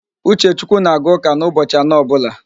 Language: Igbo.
Uchechukwu na-aga ụ́kà n'ụbochị anọ ọbụla